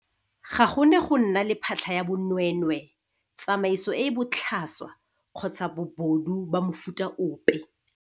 Ga go ne go nna le phatlha ya bonweenweee, tsamaiso e e botlhaswa kgotsa bobodu ba mofuta ope.